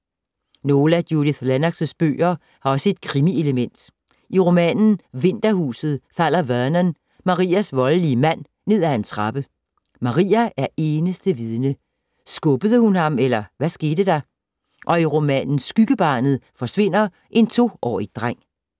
Nogle af Judith Lennoxs bøger har også et krimi-element. I romanen Vinterhuset falder Vernon, Maias voldelige mand, ned af en trappe. Maia er eneste vidne. Skubbede hun ham, eller hvad skete der? Og i romanen Skyggebarnet forsvinder en toårig dreng.